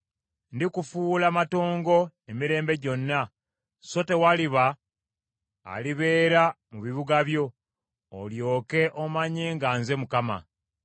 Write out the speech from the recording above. Ndikufuula matongo emirembe gyonna, so tewaliba alibeera mu bibuga byo, olyoke omanye nga nze Mukama .